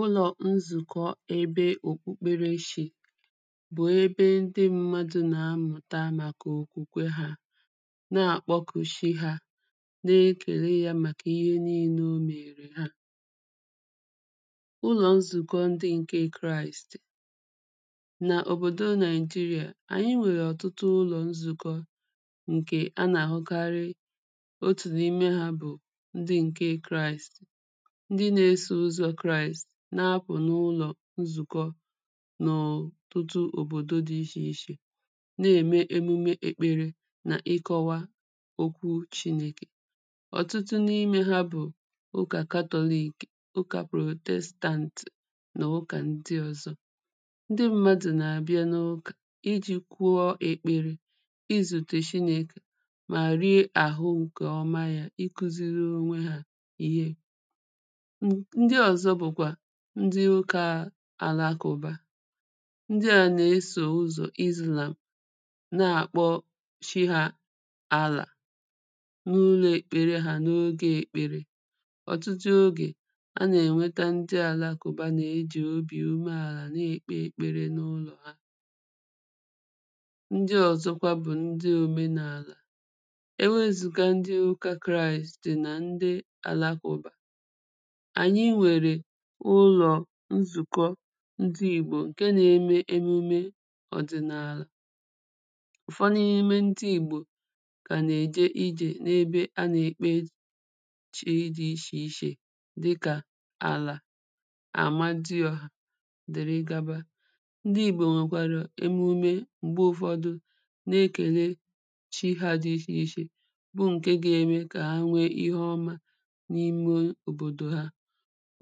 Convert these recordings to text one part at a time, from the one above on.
Ụlọ̀ nzùkọ ebe òkpukpere Shi bụ̀ ebe ndị mmadụ̀ nà-amụ̀ta màkà òkwùkwe ha na-àkpọkù shi ha na ekèle ya màkà ihe niīnē o mèèrè ha. ụlọ̀ nzùkọ ndị ǹke Kraist nà òbòdò Nigeria ànyị nwèrè ọ̀tụtụ ụlọ̀ nzùkọ ǹkè anà-àhụkarị. otù n’ime ha bụ̀ ndị ǹke Kraist ndị na-esò ụzọ̄ Kraist, na-apụ̀ n’ụlọ̀ nzùkọ n’ọ̀tụtụ òbòdo dị ishè ishè na-ème emume èkpere nà ịkọ̄wa okwu Chinēkè. ọ̀tụtụ n’imē ha bụ̀ ụkà Catholic, ụkā Protestant nà ụkà ndị ọ̀zọ. ndị mmadụ̀ nà-àbịa n’ụkà ijī kụọ èkpere izùtè Shinēkè mà rìe àhụ ǹkè ọma ya, ịkụ̄ziri onwe ha ihe. n ndị ọ̀zọ bụ̀kwà ndị ụkā Alakụ̀ba ndị à nà-esò ụzọ̀ Islam na-àkpọ Chi hā Allah n’ụlọ̄ èkpere hā n’ogē ekpere. ọ̀tụtụ ogè anà-ènweta ndị Àlakụ̀ba nà-ejì obì umeàlà na-èkpe èkpere n’ụlọ̀ ha. ndị ọ̀zọkwa bụ̀ ndị òmenàlà. ewezụ̀ga ndị ụkā Kraist nà ndị Àlakụ̀ba ànyị nwèrè ụlọ̀ nzùkọ ndị Ìgbò ǹke na-eme emume ọ̀dị̀nàlà. ụ̀fọ n’ime ndị Ìgbò kà nà-èje ijè n’ebe anà-èkpe chi dị̄ ishè ishè dị kà À̀là À̀madịọ̀hà dị̀rị gaba. ndị Ìgbò nwèkwàrà emume m̀gbe ụ̀fọdụ na-ekèle chi hā dị̄ ishè ishè bụ ǹke ga-eme kà ha nwe ihe ọma n’ime òbòdò ha.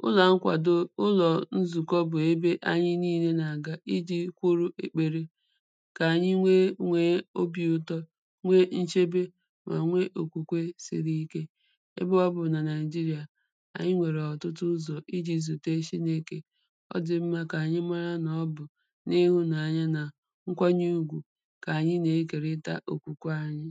ụlà nkwàdo, ụlọ̀ nzùkọ bụ̀ ebe ànyị niīnē nà-àga ijī kwụ̀rụ̀ èkpere kà ànyị nwe nwèe obī ụtọ nwe nchebe mà nwe òkwùkwe siri ike ebe ọbụ̀ nà Nigeria ànyị nwèrè ọ̀tụtụ ụzọ̀ ijī zùte Shinēkè ọ dị̀ mmā kà ànyị mara nà ọ bụ̀ n’ịhụ̄naanya nà nkwanye ùgwù kà ànyị nà-ekèrita òkwùkwe anyị.